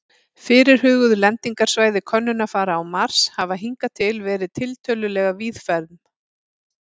Fyrirhuguð lendingarsvæði könnunarfara á Mars hafa hingað til verið tiltölulega víðfeðm.